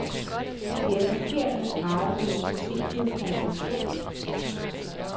Det er forkert at drage den forsimplede konklusion.